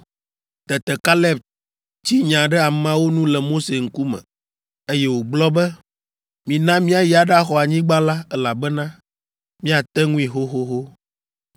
Tete Kaleb tsi nya ɖe ameawo nu le Mose ŋkume, eye wògblɔ be, “Mina míayi aɖaxɔ anyigba la, elabena míate ŋui xoxoxo.”